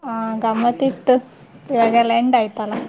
ಹಾ ಗಮ್ಮತ್ತ್ ಇತ್ತು ಇವಾಗ ಎಲ್ಲಾ end ಆಯ್ತಲ್ಲ.